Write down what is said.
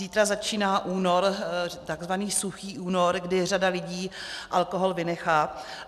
Zítra začíná únor, takzvaný suchý únor, kdy řada lidí alkohol vynechá.